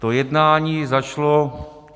To jednání začalo...